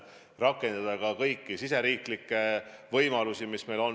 Saab rakendada ka kõiki riigisiseseid võimalusi, mis meil on.